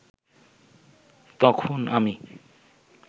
তখন আমি